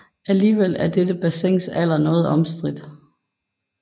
Alligevel er dette bassins alder noget omstridt